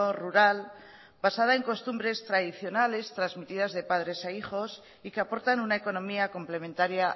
rural basada en costumbres tradicionales transmitidas de padres a hijos y que aportan una economía complementaria